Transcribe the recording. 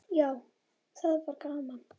Já, það var gaman!